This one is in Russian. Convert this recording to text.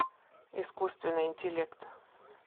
искусственный интеллект